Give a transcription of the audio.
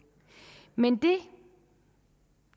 men det